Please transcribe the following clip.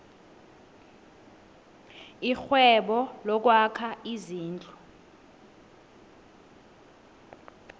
irhwebo lokwakha izindlu